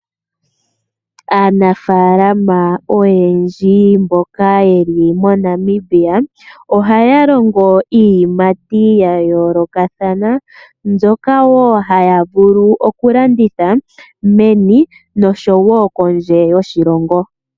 Iinafala oyendji oha Longo iilikolomwa ya yoloka mbyoka hayi landithwa menu lyoshilongo nopondje yoshilongo